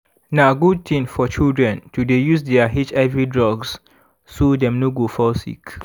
na good thing for children to dey use their hiv drugs so dem no go fall sick